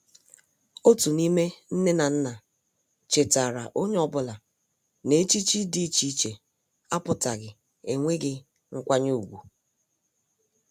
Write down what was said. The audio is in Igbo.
Otu n'ime nne na nna chetaara onye ọbụla na echichi dị iche iche apụtaghi enweghi nkwanye ùgwù.